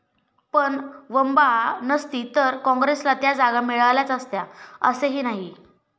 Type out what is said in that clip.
पण वंबआ नसती तर काँग्रेसला त्या जागा मिळाल्याच असत्या असेही नाही.